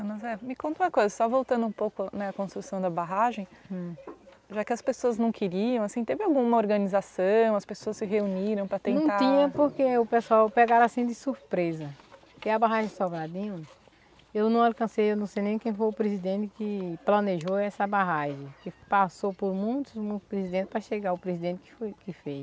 Ana Zé, me conta uma coisa, só voltando um pouco né, a construção da barragem hm, já que as pessoas não queriam, assim, teve alguma organização, as pessoas se reuniram para tentar... Não tinha porque o pessoal pegaram assim de surpresa, porque a barragem de, eu não alcancei, eu não sei nem quem foi o presidente que planejou essa barragem, que passou por muitos presidentes para chegar o presidente que foi que fez.